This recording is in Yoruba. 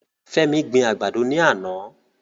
Femi gbin àgbàdo ní àná.